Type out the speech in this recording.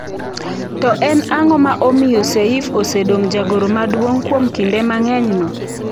To en ang'o ma omiyo Seif osedong jagoro maduong kuom kinde mang'enyno?